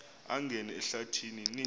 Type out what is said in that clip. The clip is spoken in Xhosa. angena ehlathi ni